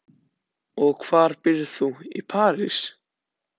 Og hvar býrð þú í París?